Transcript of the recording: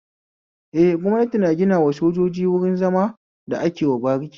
Eh, gwamnati na ginawa sojoji wruin zama da akewa bariki